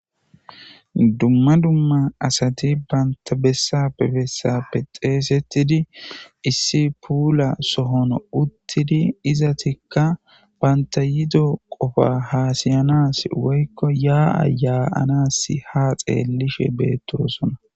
dumma dumma asati banta bessape bessappe xeesettidi issi puula sohono uttidi izatikka banta yido qofa haasiyanas woykko yaa ayaanasi ha xeellishe beettosona